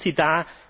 Was tut sie da?